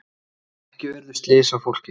Ekki urðu slys á fólki.